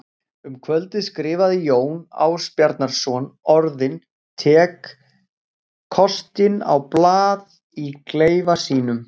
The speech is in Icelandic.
Um kvöldið skrifaði Jón Ásbjarnarson orðin tek kostinn á blað í klefa sínum.